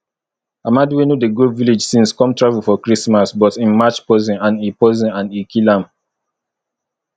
amadi wey no dey go village since come travel for christmas but im match poison and e poison and e kill am